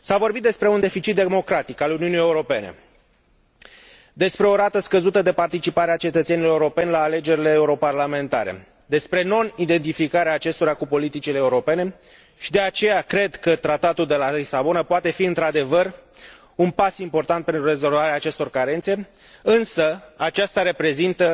S a vorbit despre un deficit democratic al Uniunii Europene, despre o rată scăzută de participare a cetățenilor europeni la alegerile europarlamentare, despre nonidentificarea acestora cu politicile europene și de aceea cred că Tratatul de la Lisabona poate fi într adevăr un pas important pentru rezolvarea acestor carențe, însă acesta reprezintă